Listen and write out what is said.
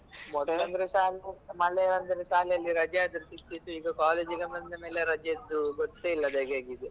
ಮೊದಲಂದ್ರೆ ಶಾಲೆ ಮಳೆ ಬಂದ್ರೆ ಶಾಲೆ ಅಲ್ಲಿ ರಜೆ ಆದ್ರೂ ಸಿಕ್ತಿತ್ತು ಈಗ college ಗೆ ಬಂದ ಮೇಲೆ ರಜೆಯದ್ದು ಗೊತ್ತೇ ಇಲ್ಲದಾಗೆ ಆಗಿದೆ.